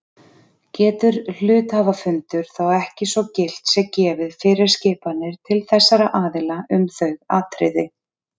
Getur hluthafafundur þá ekki svo gilt sé gefið fyrirskipanir til þessara aðila um þau atriði.